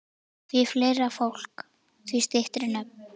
Því fleira fólk, því styttri nöfn.